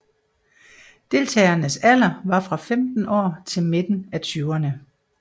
Deltagernes alder var fra 15 år til midten af tyverne